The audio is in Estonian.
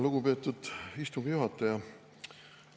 Lugupeetud istungi juhataja!